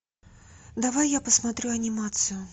давай я посмотрю анимацию